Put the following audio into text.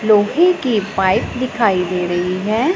लोहे की पाइप दिखाई दे रही है।